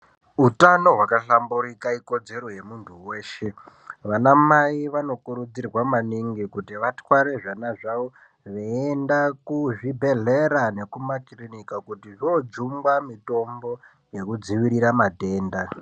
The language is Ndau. Utano wakahlamburika ikodzero yemundu weshe vana Mai vanokurudzirwa maningi kuti vatware zvivana zvavo veyiyenda kuzvibhedhleya nekumakirinika kuti vojungwa mitombo yekudzivirira matenda.